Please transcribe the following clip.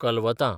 कलवतां